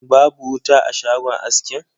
Babu wuta a shagon askin.